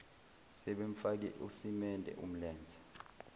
sebemfake usimende umlenze